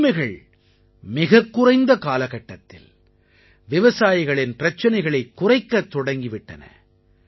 இந்த உரிமைகள் மிகக்குறைந்த காலகட்டத்தில் விவசாயிகளின் பிரச்சனைகளைக் குறைக்கத் தொடங்கி விட்டன